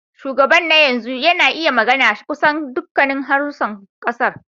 Shugaban na yanzu yana iya magana kusan dukkan harsunan kasar.